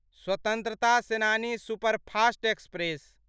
स्वतंत्रता सेनानी superfast express